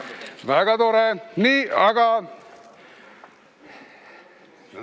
Väga tore!